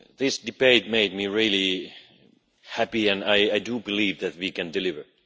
This debate made me really happy, and I do believe that we can deliver.